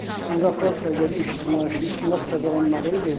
İstintaqsa əgər iş cinayət işi istintaq təzələnməli idi.